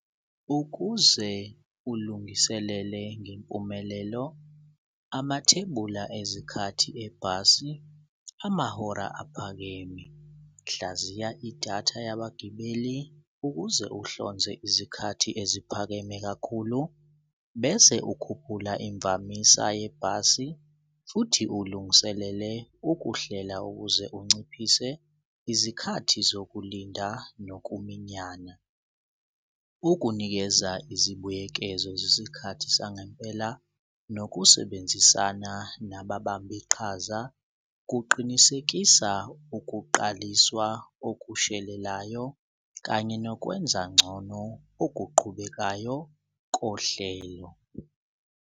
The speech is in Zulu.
Ukuze ulungiselele ngempumelelo amathebula ezikhathi ebhasi amahora aphakeme. Hlaziya idatha yabagibeli ukuze uhlonze izikhathi eziphakeme kakhulu, bese ukhuphula imvamisa yebhasi futhi ulungiselele ukuhlela ukuze unciphise izikhathi zokulinda nokuminyana. Ukunikeza izibuyekezo zezikhathi sangempela nokusebenzisana nababamba iqhaza kuqinisekisa ukuqaliswa okushelelayo kanye nokwenza ngcono okuqhubekayo kohlelo.